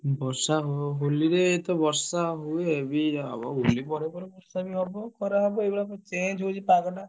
ବର୍ଷ ହବ ହୋଲିରେ ତ ବର୍ଷ ହୁଏ ବି ହବ ହୋଲି ପରେ ପରେ ବର୍ଷ ବି ହବ। ଖରା ହବ ଏଇଭଳିଆ change ହଉଛି ପାଗଟା।